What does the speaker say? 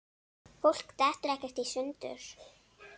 Fólk dettur ekkert í sundur.